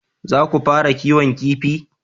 Za ku fara kiwon kifi?